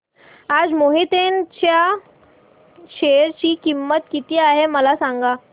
आज मोहिते इंड च्या शेअर ची किंमत किती आहे मला सांगा